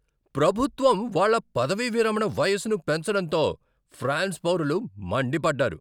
ప్రభుత్వం వాళ్ళ పదవీవిరమణ వయసును పెంచడంతో ఫ్రాన్స్ పౌరులు మండిపడ్డారు.